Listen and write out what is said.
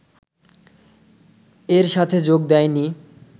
এর সাথে যোগ দেয় নি